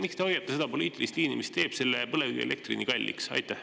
Miks te hoiate seda poliitilist liini, mis teeb põlevkivielektri nii kalliks?